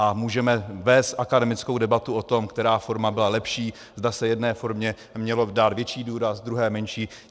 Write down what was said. A můžeme vést akademickou debatu o tom, která forma byla lepší, zda se jedné formě měl dát větší důraz, druhé menší.